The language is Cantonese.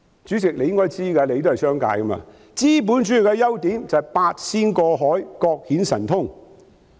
主席，你也是從商的，應知道資本主義的優點就是"八仙過海，各顯神通"。